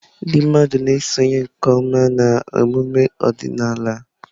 Ndị mmadụ na-esonye nke ọma na emume ọdịnala.